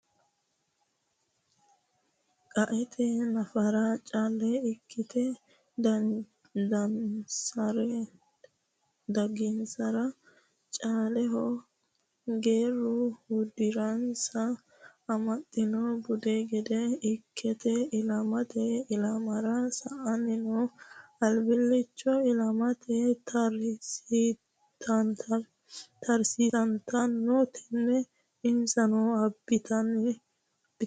Qaete nafara caale ikkite dagansarano caaleho geerru uddiransa amaxonsa budu gede ikkite ilamate ilamra sa"anni no albilichono ilama taresittano tene insa abbitino budenke.